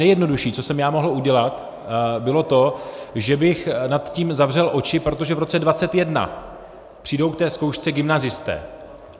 Nejjednodušší, co jsem já mohl udělat, bylo to, že bych nad tím zavřel oči, protože v roce 2021 přijdou k té zkoušce gymnazisté.